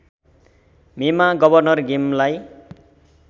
मेमा गवर्नर गेमलाई